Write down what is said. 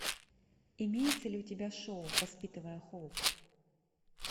имеется ли у тебя шоу воспитывая хоуп